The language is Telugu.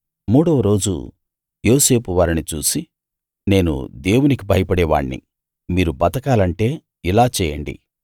మూడవ రోజు యోసేపు వారిని చూసి నేను దేవునికి భయపడే వాణ్ణి మీరు బతకాలంటే ఇలా చేయండి